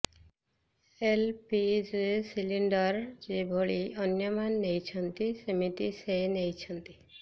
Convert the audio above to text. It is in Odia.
ଏଲପିଜି ସିଲିଣ୍ଡର ଯେଭଳି ଅନ୍ୟମାନେ ନେଇଛନ୍ତି ସେମିତି ସେ ନେଇଛନ୍ତି